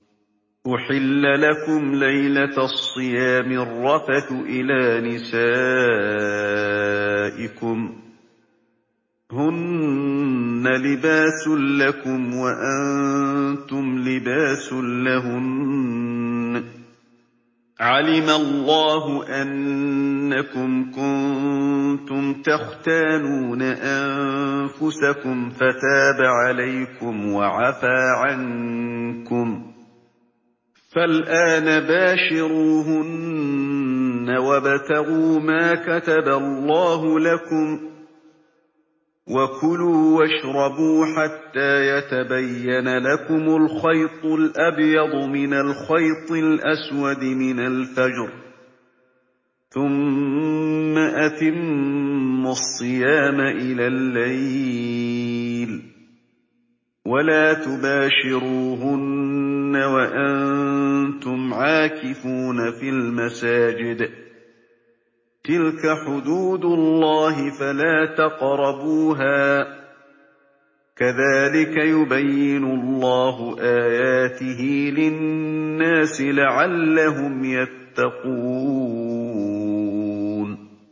أُحِلَّ لَكُمْ لَيْلَةَ الصِّيَامِ الرَّفَثُ إِلَىٰ نِسَائِكُمْ ۚ هُنَّ لِبَاسٌ لَّكُمْ وَأَنتُمْ لِبَاسٌ لَّهُنَّ ۗ عَلِمَ اللَّهُ أَنَّكُمْ كُنتُمْ تَخْتَانُونَ أَنفُسَكُمْ فَتَابَ عَلَيْكُمْ وَعَفَا عَنكُمْ ۖ فَالْآنَ بَاشِرُوهُنَّ وَابْتَغُوا مَا كَتَبَ اللَّهُ لَكُمْ ۚ وَكُلُوا وَاشْرَبُوا حَتَّىٰ يَتَبَيَّنَ لَكُمُ الْخَيْطُ الْأَبْيَضُ مِنَ الْخَيْطِ الْأَسْوَدِ مِنَ الْفَجْرِ ۖ ثُمَّ أَتِمُّوا الصِّيَامَ إِلَى اللَّيْلِ ۚ وَلَا تُبَاشِرُوهُنَّ وَأَنتُمْ عَاكِفُونَ فِي الْمَسَاجِدِ ۗ تِلْكَ حُدُودُ اللَّهِ فَلَا تَقْرَبُوهَا ۗ كَذَٰلِكَ يُبَيِّنُ اللَّهُ آيَاتِهِ لِلنَّاسِ لَعَلَّهُمْ يَتَّقُونَ